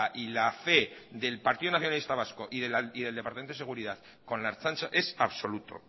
y la fe del partido nacionalista vasco y del departamento de seguridad con la ertzaintza es absoluto